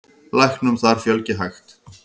Læknum þar fjölgi hægt.